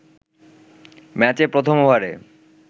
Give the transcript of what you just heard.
ম্যাচে প্রথম ওভারে